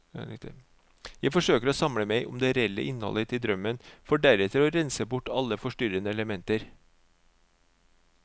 Jeg forsøker å samle meg om det reelle innholdet i drømmen, for deretter å rense bort alle forstyrrende elementer.